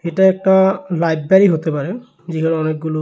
এটা একটা লাইবেরী হতে পারে যেখানে অনেকগুলো--